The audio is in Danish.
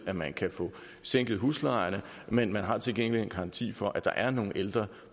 at man kan få sænket huslejerne men man har til gengæld en garanti for at der er nogle ældre